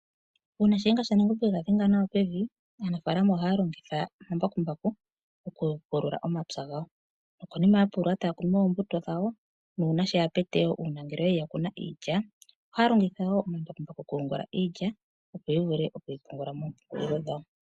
Uuna Shiyenga shaNangombe e ga dhenga nawa pevi aanafalama ohaya longitha omambakumbaku okupulula omapya gawo nokonima ya pulula taya kunu oombuto dhawo nuuna ngele yali ya kuna iilya ohaya longitha omambakumbaku okuyungula iilya opo ya vule okuyipunga moompungulilo dhawo.